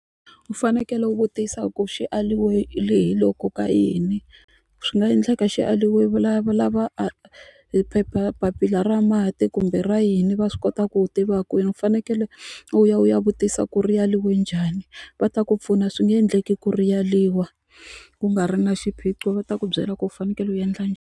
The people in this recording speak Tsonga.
U fanekele u vutisa ku xi aliwe hi loko ka yini swi nga endleka xi aliwe valava a hi papila ra mati kumbe ra yini va swi kota ku tiva kwini u fanekele u ya u ya vutisa ku ri yaliwe njhani va ta ku pfuna swi nge endleki ku ri yaliwa ku nga ri na xiphiqo va ta ku byela ku u fanekele u endla .